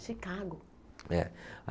Chicago. É.